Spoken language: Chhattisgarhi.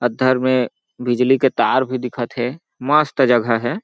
अद्धर में बिजली के तार भी दिखत हे मस्त जगह हे।